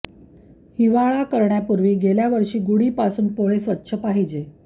हिवाळा करण्यापूर्वी गेल्या वर्षी गुडी पासून पोळे स्वच्छ पाहिजे